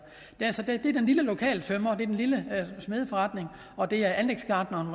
det er den lille lokale tømrer det er den lille smedeforretning det er anlægsgartneren